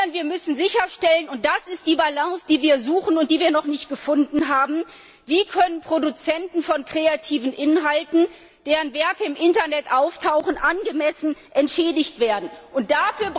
Wir müssen hingegen sicherstellen und das ist die Balance, die wir suchen und die wir noch nicht gefunden haben wie Produzenten von kreativen Inhalten, deren Werke im Internet auftauchen, angemessen entschädigt werden können?